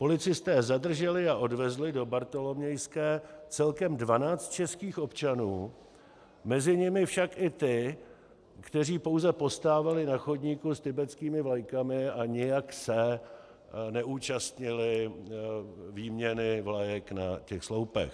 Policisté zadrželi a odvezli do Bartolomějské celkem 12 českých občanů, mezi nimi však i ty, kteří pouze postávali na chodníku s tibetskými vlajkami a nijak se neúčastnili výměny vlajek na těch sloupech.